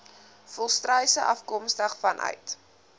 volstruise afkomstig vanuit